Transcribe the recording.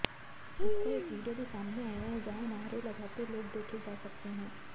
इसका एक वीडियो भी सामने आया है जहां नारे लगाते लोग देखे जा सकते हैं